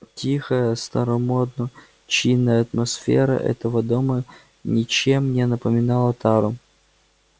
тихая старомодно чинная атмосфера этого дома ничем не напоминала тару